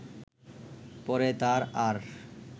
পরে তার আর